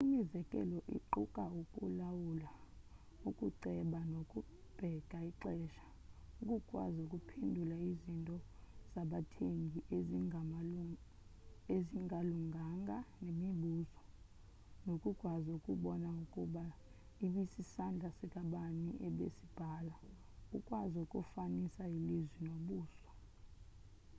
imizekelo iquka ukulawula ukuceba nokubeka ixesha ukukwazi ukuphendula izinto zabathengi ezingalunganga nemibuzo nokukwazi ukubona ukuba ibisisandla sikabani ebesibhala ukwazi ukufanisa ilizwi nobuso